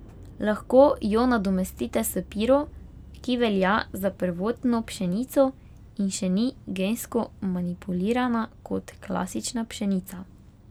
Lahko jo nadomestite s piro, ki velja za prvotno pšenico in še ni gensko manipulirana kot klasična pšenica.